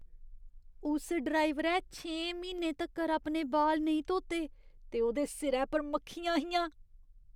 उस ड्राइवरै छें म्हीनें तक्कर अपने बाल नेईं धोते ते ओह्दे सिरै पर मक्खियां हियां।